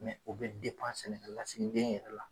Mɛ o bɛ sɛnɛkɛlasigigenya yɛrɛ la.